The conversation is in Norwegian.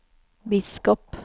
biskop